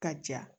Ka ja